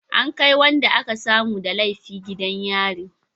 An kai wanda aka samu da laifi gidan yari